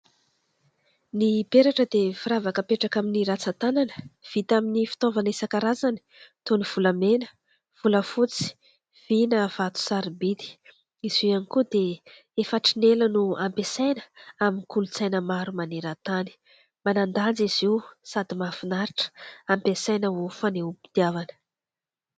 Ny peratra dia firavaka apetraka amin'ny ratsan-tanana vita amin'ny fitaovana isan-karazany toy ny : volamena, volafotsy, vy na vato sarobidy ; izy io ihany koa dia efa hatrin'ny ela no ampiasaina amin'ny kolontsaina maro maneran-tany ; manan-danja izy io sady mahafinaritra ampiasaina ho fanehom-pitiavana.